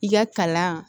I ka kalan